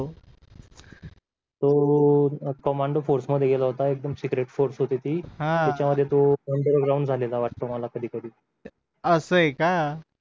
तो कमांडो फोर्समध्ये गळेल होता एकदम सीक्रेट फोर्स अनडरग्राऊंड होती ती त्याचा मध्ये तो अनडरग्राऊंड झालेला वाटतो मला कधी कधी